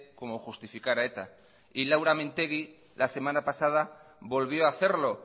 como justificar a eta y laura mintegi la semana pasada volvió a hacerlo